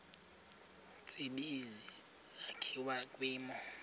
tsibizi sakhiwa kwimo